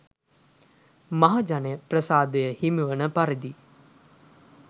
මහජන ප්‍රසාදය හිමිවන පරිදි